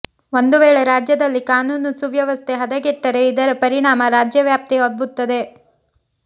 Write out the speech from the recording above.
ಒಂದುವೇಳೆ ರಾಜ್ಯದಲ್ಲಿ ಕಾನೂನು ಸುವ್ಯವಸ್ಥೆ ಹದಗೆಟ್ಟರೆ ಇದರ ಪರಿಣಾಮ ರಾಜ್ಯವ್ಯಾಪಿ ಹಬ್ಬುತ್ತದೆ